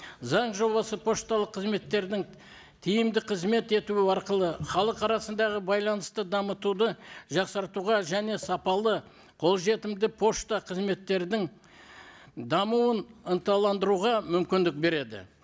заң жобасы пошталық қызметтердің тиімді қызмет етуі арқылы халық арасындағы байланысты дамытуды жақсартуға және сапалы қолжетімді пошта қызметтердің дамуын ынталандыруға мүмкіндік береді